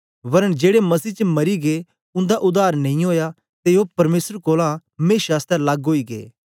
वरन जेड़े मसीह च मरी गै उंदा उद्धार नेई ओया ते ओ परमेसर कोलां मेशा आसतै लग्ग ओई गै